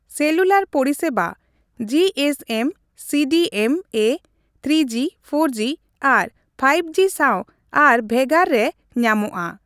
Cellular ᱯᱚᱨᱤᱥᱮᱵᱟ GSM, CDMA, two G, ᱔ᱡᱤ ᱟᱨ ᱔ᱡᱤ ᱥᱟᱶ ᱟᱨ ᱵᱷᱮᱜᱟᱨ ᱨᱮ ᱧᱟᱢᱚᱜᱼᱟ ᱾